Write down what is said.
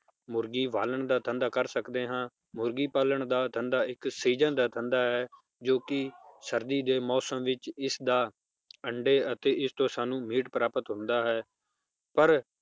ਮੁਰਗੀ ਪਾਲਨ ਦਾ ਧੰਦਾ ਕਰ ਸਕਦੇ ਹਾਂ ਮੁਰਗੀ ਪਾਲਣ ਦਾ ਧੰਦਾ ਇੱਕ season ਦਾ ਧੰਦਾ ਹੈ ਜੋ ਕਿ ਸਰਦੀ ਦੇ ਮੌਸਮ ਵਿਚ ਇਸ ਦਾ ਅੰਡੇ ਅਤੇ ਇਸ ਤੋਂ ਸਾਨੂੰ meat ਪ੍ਰਾਪਤ ਹੁੰਦਾ ਹੈ